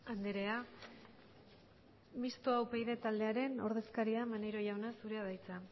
andrea mistoa upyd taldearen ordezkaria maneiro jauna zurea da hitza